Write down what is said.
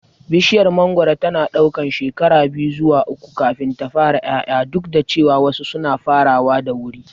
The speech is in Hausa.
Bishiyar mangoro tana ɗaukar shekara biyu zuwa uku kafin ta fara ƴaƴa, duk da cewa wasu suna farawa da wuri.